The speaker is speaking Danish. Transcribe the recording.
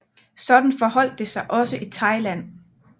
Sådan forholdt det sig også i Thailand